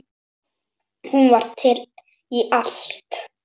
Hún var til í allt.